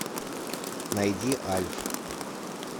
найди альф